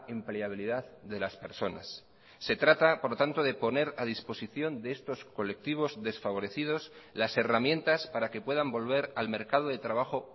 empleabilidad de las personas se trata por lo tanto de poner a disposición de estos colectivos desfavorecidos las herramientas para que puedan volver al mercado de trabajo